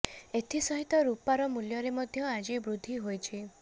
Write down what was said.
ଏଥି ସହିତ ରୁପାର ମୂଲ୍ୟରେ ମଧ୍ୟ ଆଜି ବୃଦ୍ଧି ହୋଇଛି